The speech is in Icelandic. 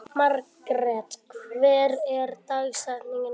Margret, hver er dagsetningin í dag?